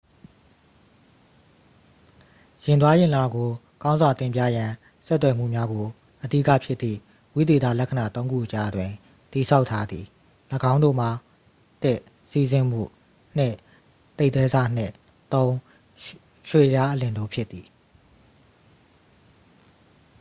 ယာဉ်သွားယာဉ်လာကို ကောင်းစွာတင်ပြရန် ဆက်သွယ်မှုများကို အဓိကဖြစ်သည့် ဝိသေသလက္ခဏာ သုံးခုအကြားတွင် တည်ဆောက်ထားသည်- ၎င်းတို့မှာ ၁ စီးဆင်းမှု၊ ၂ သိပ်သည်းဆနှင့် ၃ ရွေ့လျားအလျင်တို့ဖြစ်သည်။